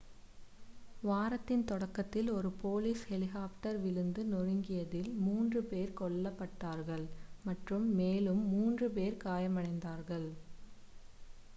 வாரத்தின் தொடக்கத்தில் ஒரு போலீஸ் ஹெலிகாப்டர் விழுந்து நொறுங்கியதில் மூன்று பேர் கொல்லப் பட்டார்கள் மற்றும் மேலும் மூன்று பேர் காயமடைந்தார்கள்